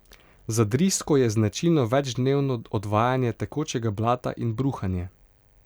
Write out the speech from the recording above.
Za drisko je značilno večdnevno odvajanje tekočega blata in bruhanje.